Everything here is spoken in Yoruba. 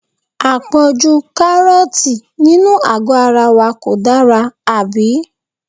À pọ̀jù Kárọ́ọ̀tì nínú àgó ara wa kò dára, àbí?